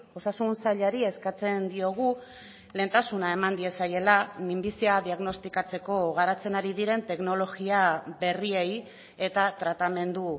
osasun sailari eskatzen diogu lehentasuna eman diezaiela minbizia diagnostikatzeko garatzen ari diren teknologia berriei eta tratamendu